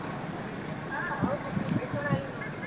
ಹಾ ಹೌದು ಮುರುಡೇಶ್ವರ ಎಲ್ಲಾ ನೋಡಿದ್ದೇನೆ.